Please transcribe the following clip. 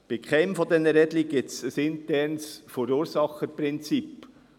Bei keinem dieser Rädchen gibt es ein internes Verursacherprinzip.